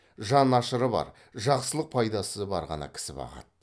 жан ашыры бар жақсылық пайдасы бар ғана кісі бағады